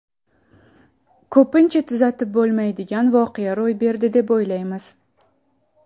Ko‘pincha tuzatib bo‘lmaydigan voqea ro‘y berdi, deb o‘ylaymiz.